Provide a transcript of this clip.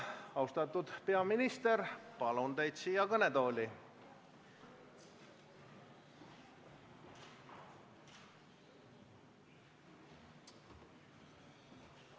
Austatud peaminister, palun teid siia kõnetooli!